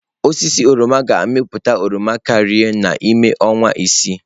Osisi oroma ga-amịpụta oroma karịa n'ime ọnwa isii.